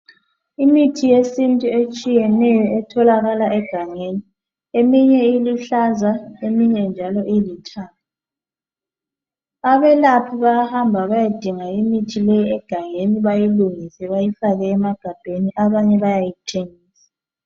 Imithi yesintu etshiyeneyo etholakala egangeni. Eminye iluhlaza, iminye njalo ilithanga. Abelaphi bayahamba bayedinga imithi leyi egangeni, bayilungise, bayifake emagambeni, abanye bayayithenga.